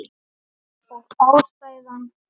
Og ástæðan?